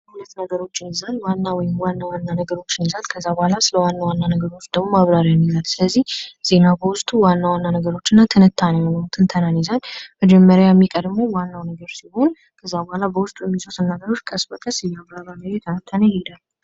ሁለት ነገሮችን ይዘን ዋና ወይም ዋና ዋና ነገሮችን ከዛ በኋላ ደግሞ ስለ ዋና ዋና ነገሮች ደግሞ ማብራሪያ ይኖራል። ስለዚህ ዜና በውስጡ ዋና ዋና ነገሮችን እና ትንታኔውን ትንተናን ይይዛል። የመጀመሪያ የሚቀርበው ዋናው ነገር ሲሆን ከዛ በኋላ በውስጡ የሚይዙትን ነገሮች ቀስ በቀስ አያብራራ እና እየተነተነ ይሄዳል።